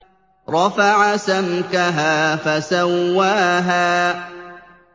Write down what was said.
رَفَعَ سَمْكَهَا فَسَوَّاهَا